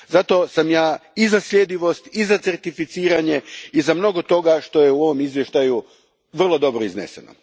Zato sam ja i za sljedivost i certificiranje i za mnogo toga što je u ovom izvješću vrlo dobro izneseno.